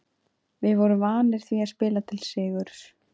Við vorum vanir því að spila til sigurs.